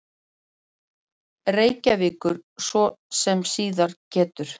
Reykjavíkur, svo sem síðar getur.